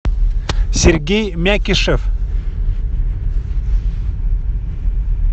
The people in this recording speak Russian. сергей мякишев